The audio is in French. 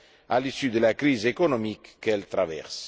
à l'issue de la crise économique qu'elle traverse.